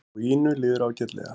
Og Ínu líður ágætlega.